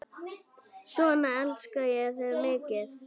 Svona elska ég þig mikið.